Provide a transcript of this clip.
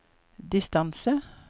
distance